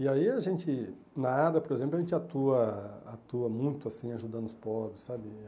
E aí a gente, na área, por exemplo, a gente atua atua muito assim, ajudando os pobres, sabe?